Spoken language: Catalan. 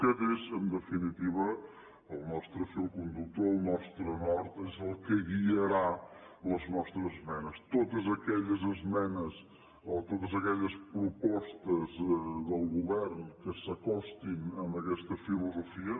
aquest és en definitiva el nostre fil conductor el nostre nord és el que guiarà les nostres esmenes totes aquelles esmenes o totes aquelles propostes del govern que s’acostin a aquesta filosofia